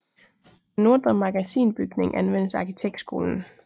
Den Nordre Magasinbygning anvendes af arkitektskolen